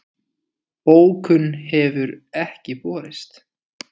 Bókun hefur ekki borist